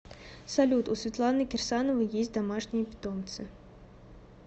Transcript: салют у светланы кирсановой есть домашние питомцы